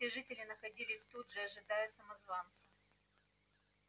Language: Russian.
все жители находились тут же ожидая самозванца